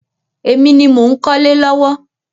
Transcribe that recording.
Èmi ni mò ń kọ́lé lọ́wọ́.